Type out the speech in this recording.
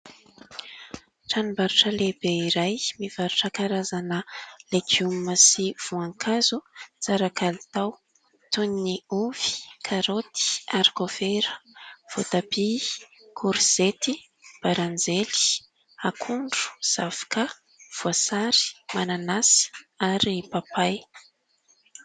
Tranom-barotra lehibe iray mivarotra karazana legioma sy voankazo tsara kalitao toy ny ovy karaoty arikovera, voatabia, korizety, baranjely, akondro, zavoka, voasary, mananasy ary papay.